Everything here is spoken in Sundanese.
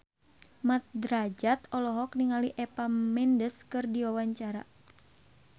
Mat Drajat olohok ningali Eva Mendes keur diwawancara